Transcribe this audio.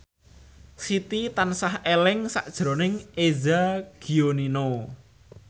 Siti tansah eling sakjroning Eza Gionino